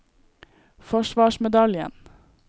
forsvarsmedaljen